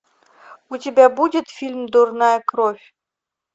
у тебя будет фильм дурная кровь